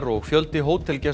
og fjöldi